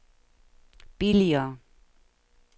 billigere